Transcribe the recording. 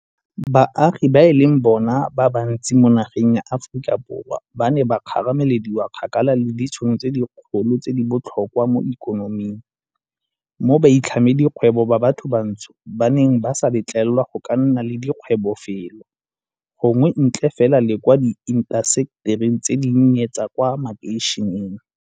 Baagi ba e leng bona ba bantsi mo nageng ya Aforika Borwa ba ne ba kgaramelediwa kgakala le ditšhono tse dikgolo tse di botlhokwa mo ikonoming, mo baitlhamedikgwebo ba bathobantsho ba neng ba sa letlelelwa go ka nna le dikgwebo felo gongwe ntle fela le kwa diintasetering tse dinnye tsa kwa makeišeneng.